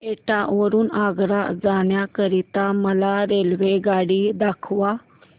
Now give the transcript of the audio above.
एटा वरून आग्रा जाण्या करीता मला रेल्वेगाडी दाखवा